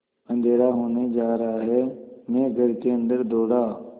अँधेरा होने जा रहा है मैं घर के अन्दर दौड़ा